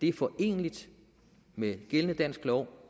er foreneligt med gældende dansk lov